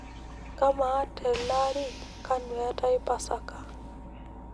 kaa maa teelaari kanu etae pasaka